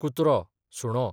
कुत्रो, सुणो